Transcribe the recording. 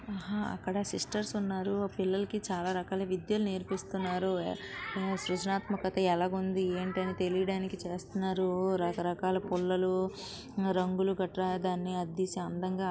ఆహ అక్కడ సిస్టర్స్ ఉన్నారు ఆ పిల్లలకి చాలా రకాల విద్యలు నేర్పిస్తున్నారు హు సృజనాత్మకత ఎలాగుంది ఏంటని తెలియడానికి చేస్తున్నారు రకరకాల పుల్లలు రంగులు గట్రా దాన్ని అద్దిచ్చి అందంగా--